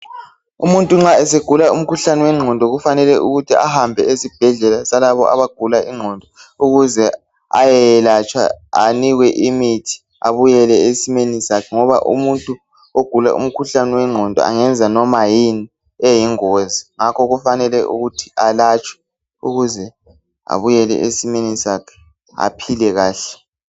Umuntu nxa esegula umkhuhlane wengqondo kufanele ukuthi ahambe esibhedlela salabo abagula ingqondo ukuze ayeyelatshwa anikwe imithi abuyele esimeni sakhe ngoba umuntu ogula umkhuhlane wengqondo engenza noma yini eyingozi. Ngakho kufanele ukuthi alatshwe ukuze abuyele esimeni sakhe aphile kahle.